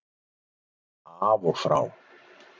Af og frá